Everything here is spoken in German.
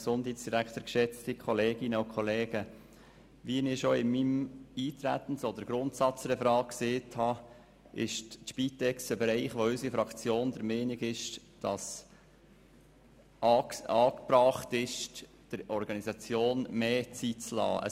Wie ich bereits in meinem Eintretensreferat erwähnt habe, ist die Spitex ein Bereich, bei welchem es die Fraktion EDU für angebracht hält, der Organisation mehr Zeit zu lassen.